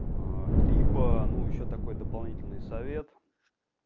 либо ну ещё такой дополнительный совет